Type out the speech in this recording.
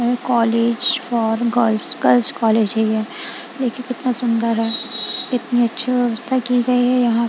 College for girls girls college है ये। देखिए कितना सुंदर है कितनी अच्छी व्यवस्था की गई है यहां।